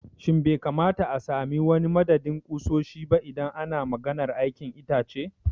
Shin bai kamata a sami wani madadin ƙusoshi ba idan ana maganar aikin itace?